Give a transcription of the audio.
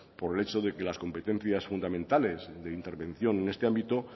por el hecho de que las competencias fundamentales de intervención en este ámbito